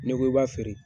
N'i ko i b'a feere